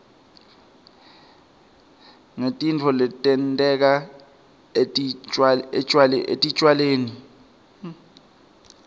ngetitfo letenteka etitjalweni